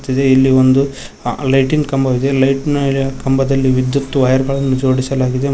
ಇದೆ ಇಲ್ಲಿ ಅ ಒಂದು ಲೈಟಿನ ಕಂಬವಿದೆ ಲೈಟ್ ನ್ ಮೇಲೆ ಕಂಬದಲ್ಲಿ ವಿದ್ಯುತ್ ವೈರ್ ಗಳನ್ನು ಜೋಡಿಸಲಾಗಿದೆ.